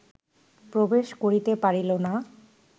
প্রবেশ করিতে পারিল না